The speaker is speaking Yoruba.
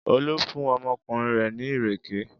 Olú fún ọmọkùnrin rẹ̀ ní ìrèké?